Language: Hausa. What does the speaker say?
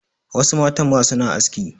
Wasu matan ma suna aski.